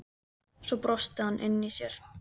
Svo brosti hann inni í sér.